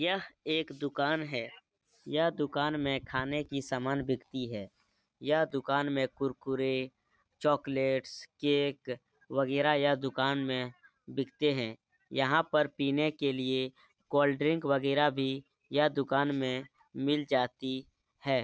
यह एक दुकान है। यह दुकान में खाने की सामान बिकती है। यह दुकान में कुरकुरे चोकलेट्स केक वगेरा यह दुकान में बिकते हैं। यहाँ पर पीने के लिये कोल्ड ड्रिंक वगेरा भी यह दुकान में मिल जाती है।